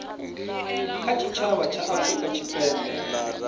kha tshitshavha tsha afurika tshipembe